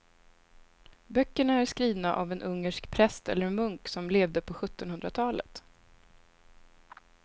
Böckerna är skrivna av en ungersk präst eller munk som levde på sjuttonhundratalet.